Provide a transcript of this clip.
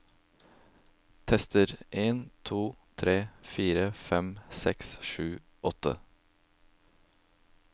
Tester en to tre fire fem seks sju åtte